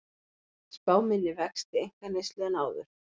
Spá minni vexti einkaneyslu en áður